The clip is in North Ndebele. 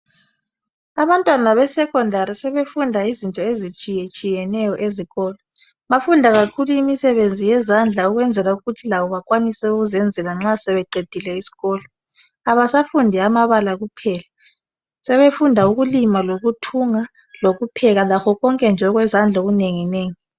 Abantwana besekhondari sebefunda izinto ezitshiyetshiyeneyo ezikolo bafunda kakhulu imisebenzi yezandla ukwenzela ukuthi labo bakwanise ukuzenzela nxa sebeqedile isikolo abasafundi amabala kuphela sebefunda ukulima, lokuthunga lokupheka lakho konke konke nje okwezandla okunenginengi